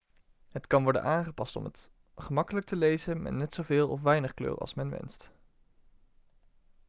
het kan worden aangepast om het gemakkelijk te lezen met net zo veel of weinig kleur als men wenst